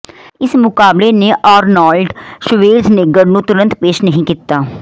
ਇਸ ਮੁਕਾਬਲੇ ਨੇ ਆਰਨੋਲਡ ਸ਼ਵੇਰਜਨੇਗਰ ਨੂੰ ਤੁਰੰਤ ਪੇਸ਼ ਨਹੀਂ ਕੀਤਾ